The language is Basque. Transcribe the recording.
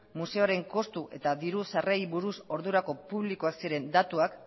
museoaren kostu eta diru sarrerei buruz ordurako publikoak ziren datuak